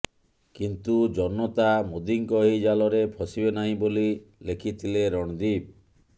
କିନ୍ତୁ ଜନତା ମୋଦୀଙ୍କ ଏହି ଜାଲରେ ଫସିବେ ନାହିଁ ବୋଲି ଲେଖିଥିଲେ ରଣଦୀପ୍